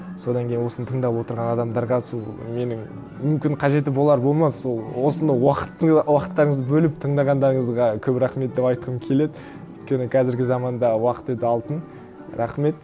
содан кейін осыны тыңдап отырған адамдарға сол менің мүмкін қажеті болар болмас ол осыны уақыт уақыттарыңызды бөліп тыңдағандарыңызға көп рахмет деп айтқым келеді өйткені қазіргі заманда уақыт өте алтын рахмет